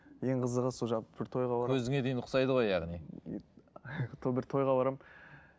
ең қызығы сол жалпы бір тойға барамын көзіңе дейін ұқсайды ғой яғни бір тойға барамын